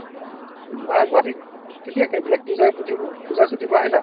গুৱাহাটী কেতিয়াকে মানে পূজাৰ বুদ্ধিবোৰ পূজাৰ ছুটীৰ পৰা আহিলা ?